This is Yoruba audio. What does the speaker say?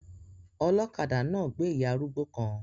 Ọlọ́kadà náà gbé ìyá arúgbó kan